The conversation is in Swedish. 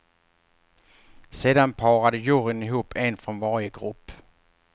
Sedan parade juryn ihop en från varje grupp.